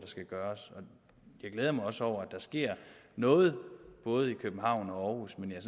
skal gøres jeg glæder mig også over at der sker noget både i københavn og aarhus men jeg